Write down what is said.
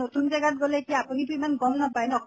নতুন জাগাত গʼলে কি আপুনি তো ইমান গম নাপায় ন